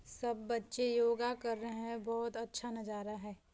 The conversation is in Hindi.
सब बच्चे योगा कर रहे हैं बहुत अच्छा नजारा है।